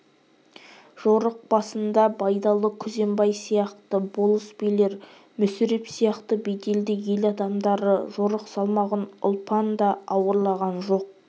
жорық басында байдалы күзембай сияқты болыс-билер мүсіреп сияқты беделді ел адамдары жорық салмағын ұлпан да ауырлаған жоқ